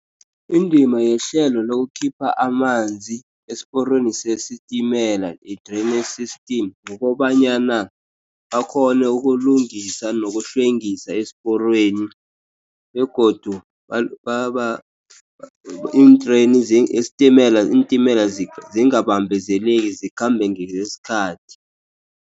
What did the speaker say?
Indima yehlelo lokukhipha amanzi, esiporweni sesitimela, a draining system, kukobanyana bakghone ukulungisa nokuhlwengisa esiporweni. Begodu isitimela, iintimela zingabambezeleki, zikhambe ngesikhathi.